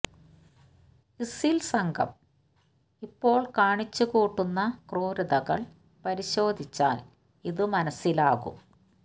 ISIL സംഘം ഇപ്പോള് കാണിച്ചു കൂട്ടുന്ന ക്രൂരതകള് പരിശോധിച്ചാല് ഇത് മനസ്സിലാകും